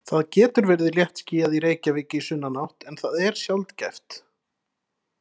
Það getur verið léttskýjað í Reykjavík í sunnanátt en það er sjaldgæft.